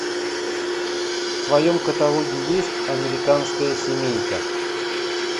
в твоем каталоге есть американская семейка